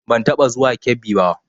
Ban taɓa zuwa garin Kebbi ba